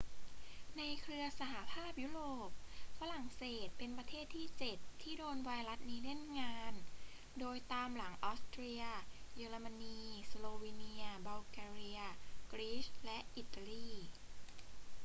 ในเครือสหภาพยุโรป ฝรั่งเศสเป็นประเทศที่ 7 ที่โดนไวรัสนี้เล่นงาน โดยตามหลังออสเตรีย เยอรมนี สโลวีเนีย บัลแกเรีย กรีซ และอิตาลี